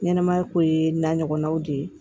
Ɲɛnɛmaya ko ye n'a ɲɔgɔnnaw de ye